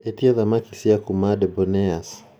atie thamaki cia kuuma debonairs